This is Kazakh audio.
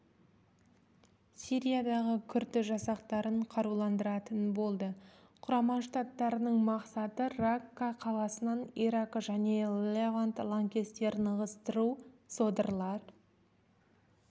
сириядағы күрд жасақтарын қаруландыратын болды құрама штаттарының мақсаты ракка қаласынан ирак және левант лаңкестерін ығыстыру содырлар